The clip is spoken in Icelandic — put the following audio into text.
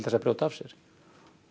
að brjóta af sér